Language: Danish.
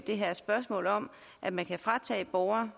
det her spørgsmål om at man kan fratage borgerne